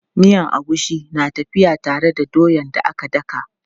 Miyan agushi na tafiya tare da doyan da aka daka.